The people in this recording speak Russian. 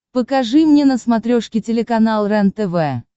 покажи мне на смотрешке телеканал рентв